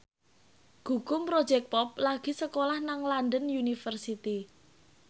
Gugum Project Pop lagi sekolah nang London University